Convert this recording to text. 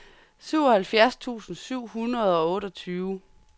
syvoghalvfjerds tusind syv hundrede og otteogtyve